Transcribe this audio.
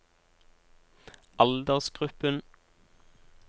aldersgruppen